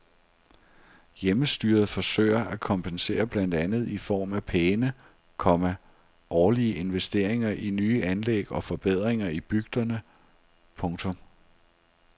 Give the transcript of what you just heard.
Hjemmestyret forsøger at kompensere blandt andet i form af pæne, komma årlige investeringer i nye anlæg og forbedringer i bygderne. punktum